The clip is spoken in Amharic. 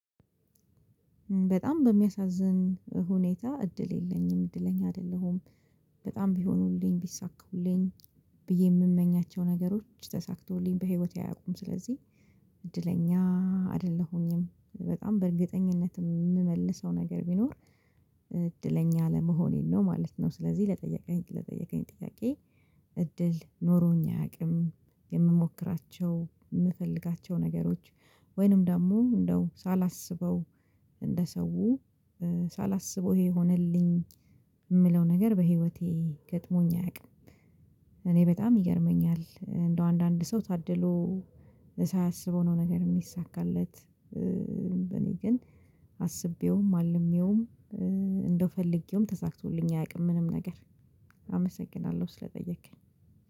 በጣም በሚያሳዝን ሁኔታ እድል የለኝም እድለኛ አይደለሁም። በጣም ቢሆኑልኝ ቢሳኩልኝ። ብዬ የምመኛቸው ነገሮች ተሳክቶልኝ በህይወቴ አያውቁም ስለዚህ አይደለሁኝም። በጣም በእርግጠኝነትም የምመልሰው ነገር ቢኖር እድለኛ ለመሆኔን ነው ማለት ነው። ስለዚህ ለጠየቀኝ ለጠየቀኝ ጥያቄ እድል ኖሮኝ አያውቅም። የምሞክራቸው የምፈልጋቸው ነገሮች። ወይንም ደግሞ እንደው ሳላስበው እንደ ሰው ሳላስበው ይሄ ሆነልኝ። የምለው ነገር በህይወቴ ገጥሞኝ አያውቅም። እኔ በጣም ይገርመኛል እንደው አንዳንድ ሰው ታድሎ ሳያስበው ነው ነገር የሚሳካለት። በእኔ ግን አስቤውም አልሜውም። እንደው ፈልጌውም ተሳክቶልኝ አያውቅም ምንም ነገር። አመሰግናለሁ ስለጠየከኝ